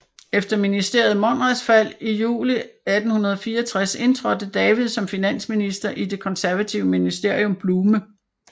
Efter ministeriet Monrads fald juli 1864 indtrådte David som finansminister i det konservative ministerium Bluhme